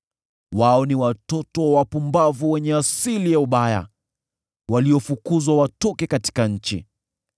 Wao ni watoto wa wapumbavu wenye asili ya ubaya, waliofukuzwa watoke katika nchi.